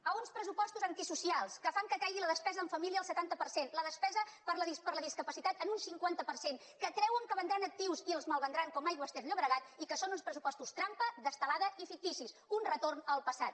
a uns pressupostos antisocials que fan que caigui la despesa en família el setanta per cent la despesa per a la discapacitat en un cinquanta per cent que creuen que vendran actius i els malvendran com aigües ter llobregat i que són uns pressupostos trampa d’estelada i ficticis un retorn al passat